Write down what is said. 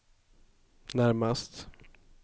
närmast